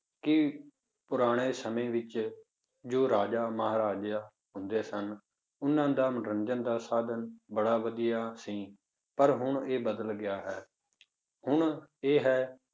ਕਿ ਪੁਰਾਣੇ ਸਮੇਂ ਵਿੱਚ ਜੋ ਰਾਜਾ ਮਹਾਰਾਜਾ ਹੁੰਦੇ ਸਨ, ਉਹਨਾਂ ਦਾ ਮਨੋਰੰਜਨ ਦਾ ਸਾਧਨ ਬੜਾ ਵਧੀਆ ਸੀ, ਪਰ ਹੁਣ ਇਹ ਬਦਲ ਗਿਆ ਹੈ, ਹੁਣ ਇਹ ਹੈ